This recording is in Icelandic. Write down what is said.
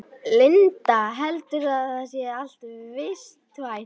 Linda: Heldurðu að þetta sé allt vistvænt?